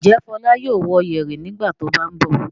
Ǹjẹ́ Fọlá yóò wō yẹ̀rì nígbà tó bá ń bọ̀?